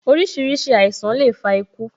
Orísìírísìí àìsàn le fa iku